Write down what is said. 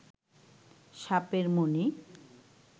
সাপের মনি